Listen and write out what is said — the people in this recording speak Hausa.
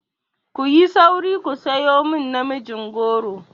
Ku yi sauri ku sayo min namijin goro!